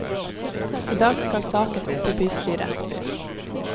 I dag skal saken opp i bystyret.